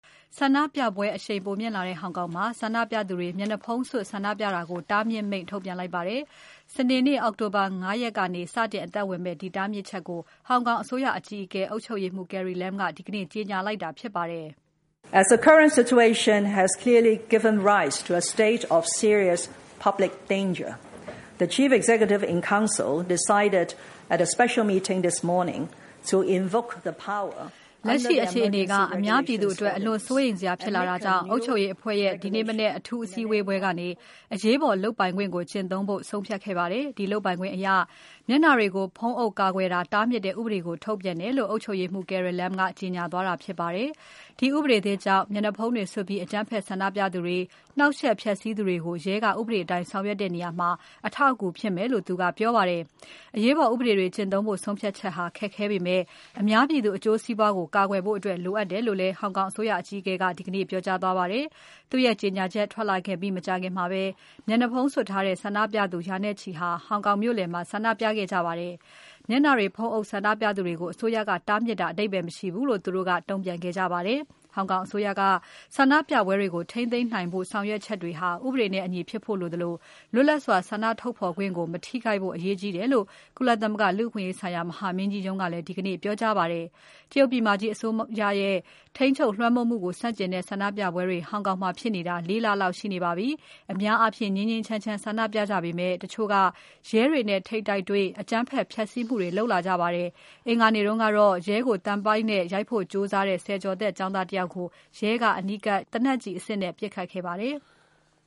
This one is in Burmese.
ဆန္ဒပြပွဲ အရှိန်ပိုမြင့်လာတဲ့ ဟောင်ကောင်မှာ ဆန္ဒပြသူတွေ မျက်နှာဖုံးစွပ် ဆန္ဒပြတာကို တားမြစ် မိန့်ထုတ်ပြန်လိုက်ပါတယ်။ စနေနေ့၊ အောက်တိုဘာ ၅ ရက်ကနေ စတင်အသက်ဝင်မယ့် ဒီတားမြစ်ချက်ကို ဟောင်ကောင်အစိုးရအကြီးအကဲ အုပ်ချုပ်ရေးမှူး Carrie Lam က ဒီကနေ့ ကြေညာလိုက်တာ ဖြစ်ပါတယ်။ လက်ရှိအခြေအနေက အများပြည်သူအတွက် အလွန်စိုးရိမ်စရာဖြစ်လာတာကြောင့် အုပ်ချုပ်ရေးအဖွဲ့ရဲ့ ဒီမနက် အထူးအစည်းအဝေးပွဲကနေ အရေးပေါ်လုပ်ပိုင်ခွင့်ကို ကျင့်သုံးဖို့ ဆုံးဖြတ်ခဲ့ပါတယ်။ ဒီလုပ်ပိုင်ခွင့်အရ မျက်နှာတွေကို ဖုံးအုပ်ကာကွယ်တာ တားမြစ်တဲ့ဥပဒေကို ထုတ်ပြန်တယ်လို့ အုပ်ချုပ်ရေးမှူး Carrie Lam က ကြေညာသွားတာ ဖြစ်ပါတယ်။ ဒီဥပဒေသစ်ကြောင့် မျက်နှာဖုံးတွေစွပ်ပြီး အကြမ်းဖက် ဆန္ဒပြသူတွေ နှောင့်ယှက်ဖျက်စီးသူတွေကို ရဲက ဥပဒေအတိုင်း ဆောင်ရွက်တဲ့နေရာမှာ အထောက်အကူဖြစ်မယ်လို့ သူက ပြောပါတယ်။ အရေးပေါ်ဥပဒေတွေ ကျင့်သုံးဖို့ ဆုံးဖြတ်ချက်ဟာ ခက်ခဲပေမဲ့ အများပြည်သူ အကျိုးစီးပွားကို ကာကွယ်ဖို့အတွက် လိုအပ်တယ်လို့လည်း ဟောင်ကောင်အစိုးရ အကြီးအကဲက ဒီကနေ့ ပြောကြားသွားပါတယ်။ သူ့ရဲ့ ကြေညာချက် ထွက်လာခဲ့ပြီးမကြာခင်မှာပဲ မျက်နှာဖုံးစွပ်ထားတဲ့ ဆန္ဒပြသူ ရာနဲ့ချီ ဟောင်ကောင်မြို့လယ်မှာ ဆန္ဒပြခဲ့ကြပါတယ်။ မျက်နှာတွေ ဖုံးအုပ်ဆန္ဒပြသူတွေကို အစိုးရက တားမြစ်တာဟာ အဓိပ္ပါယ်မရှိဘူးလို့ သူတို့က တုံ့ပြန်ခဲ့ကြပါတယ်။ ဟောင်ကောင်အစိုးရက ဆန္ဒပြပွဲတွေကို ထိန်းသိမ်းနိုင်ဖို့ ဆောင်ရွက်ချက်တွေဟာ ဥပဒေနဲ့အညီဖြစ်ဖို့ လိုသလို လွတ်လပ်စွာ ဆန္ဒဖော်ထုတ်ခွင့်ကို မထိခိုက်ဖို့ အရေးကြီးတယ်လို့ ကုလသမဂ ္ဂလူ့အခွင့်အရေးဆိုင်ရာ မဟာမင်းကြီးရုံးက ဒီကနေ့ပြောကြားပါတယ်။ တရုတ်ပြည်မကြီးအစိုးရရဲ့ ထိန်းချုပ်လွှမ်းမိုးမှုကို ဆန့်ကျင်တဲ့ ဆန္ဒပြပွဲတွေ ဟောင်ကောင်မှာ ဖြစ်နေတာ လေးလ လောက်ရှိနေပါပြီ။ အများအားဖြင့် ငြိမ်းငြိမ်းချမ်းချမ်း ဆန္ဒပြကြပေမဲ့ တချို့က ရဲတွေနဲ့ ထိပ်တိုက်တွေ့ အကြမ်းဖက် ဖျက်ဆီးမှုတွေ လုပ်လာကြပါတယ်။ အင်္ဂါနေ့တုန်းကတော့ ရဲကိုသံပိုက်နဲ့ရိုက်ဖို့ကြိုးစားတဲ့ ဆယ်ကျော်သက် ကျောင်းသားတယောက်ကို ရဲက အနီးကပ်သေနတ်နဲ့ပစ်ခတ်ခဲ့ပါတယ်။